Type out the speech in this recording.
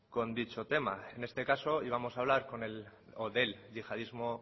con dicho tema en este caso íbamos a hablar del yihadismo